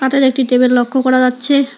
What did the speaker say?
একটি টেবিল লক্ষ করা যাচ্ছে।